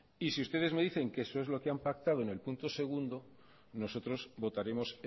y si ustedes me dicen que eso es lo que han pactado en el punto segundo nosotros votaremos